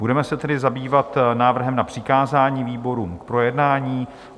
Budeme se tedy zabývat návrhem na přikázání výborům k projednání.